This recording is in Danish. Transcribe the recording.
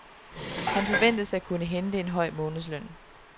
Han forventes at kunne hente en høj månedsløn.